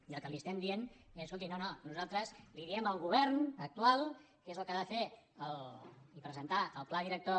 i el que li estem dient és escolti no no nosaltres li diem al govern actual que és el que ha de fer i presentar el pla director